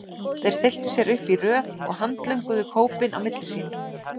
Þeir stilltu sér upp í röð og handlönguðu kópinn á milli sín.